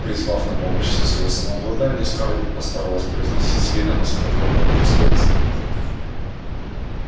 призвав на помощь всё своё самообладание скарлетт постаралась произнести с видом оскорблённого достоинства